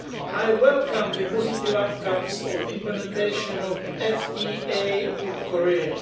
I welcome the positive outcomes of implementation of the FTA with Korea.